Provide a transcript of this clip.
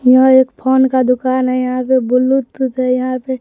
यह एक फोन का दुकान है यहां पे ब्लूटूथ है यहां पे--